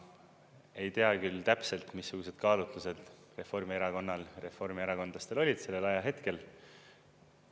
Ma ei tea küll täpselt, missugused kaalutlused Reformierakonnal, reformierakondlastel olid sellel ajahetkel.